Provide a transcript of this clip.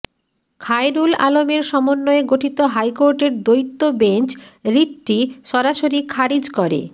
খায়রুল আলমের সমন্বয়ে গঠিত হাইকোর্টের দ্বৈত বেঞ্চ রিটটি সরাসরি খারিজ করে